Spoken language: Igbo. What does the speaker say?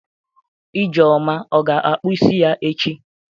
Ijeoma ọ ga-akpụ isi ya echi?